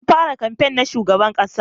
An fara kamfen na shugaban ƙasa